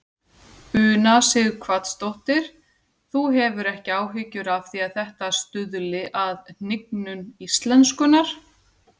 Una Sighvatsdóttir: Þú hefur ekki áhyggjur af því að þetta stuðli að hnignun íslenskunnar?